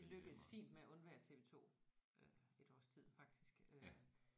Vi lykkedes fint med at undvære TV2 øh et års tid faktisk øh